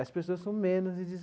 As pessoas com menos de